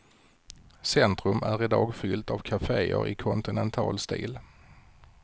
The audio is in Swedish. Centrum är i dag fullt av kafeer i kontinental stil.